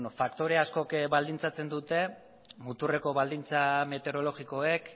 faktore askok baldintzatzen dute muturreko baldintza meteorologikoek